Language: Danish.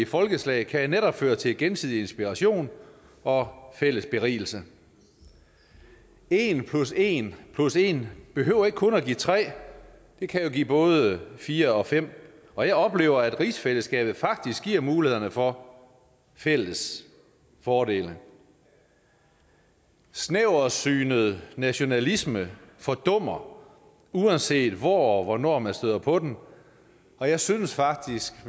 folkeslag kan netop føre til gensidig inspiration og fælles berigelse en plus en plus en behøver ikke kun give tre det kan jo give både fire og fem og jeg oplever at rigsfællesskabet faktisk giver mulighed for fælles fordele snæversynet nationalisme fordummer uanset hvor og hvornår man støder på den og jeg synes faktisk